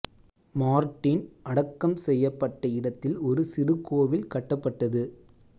Martin அடக்கம் செய்யப்பட்ட இடத்தில் ஒரு சிறு கோவில் கட்டப்பட்டது